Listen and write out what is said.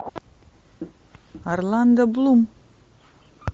орландо блум